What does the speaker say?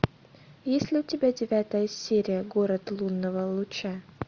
есть ли у тебя девятая серия город лунного луча